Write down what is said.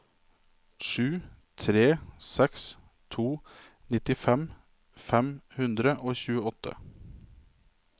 sju tre seks to nittifem fem hundre og tjueåtte